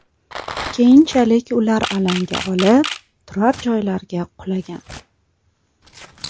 Keyinchalik ular alanga olib, turar-joylarga qulagan.